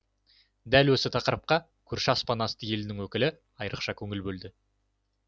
дәл осы тақырыпқа көрші аспан асты елінің өкілі айрықша көңіл бөлді